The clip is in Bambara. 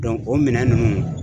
o minɛn ninnu